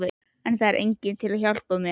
En það er enginn til að hjálpa mér.